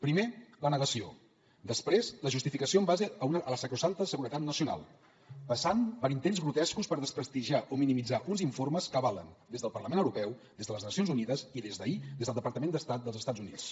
primer la negació després la justificació en base a la sacrosanta seguretat nacional passant per intents grotescos per desprestigiar o minimitzar uns informes que avalen des del parlament europeu des de les nacions unides i des d’ahir des del departament d’estat dels estats units